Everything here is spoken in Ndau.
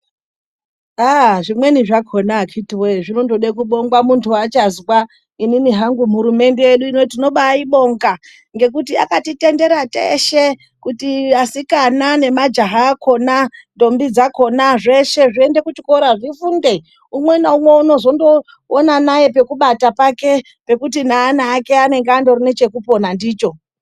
Zvimweni zvakona akiti woye zvinoda kubongwa muntu achazwa inini hangu hurumende tinobaibonga ngekuti akatitendera teshe kuti asikana nemajaha akona ndombi dzakona zveshe zviende kuchikora zvifunde umwena umwe anozoona pekubata pake pekuti neana ake anenge anechekupona ndicho.